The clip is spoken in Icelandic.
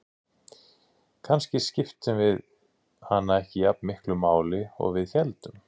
Kannski skiptum við hana ekki jafn miklu máli og við héldum.